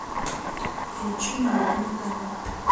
включи мой любимый канал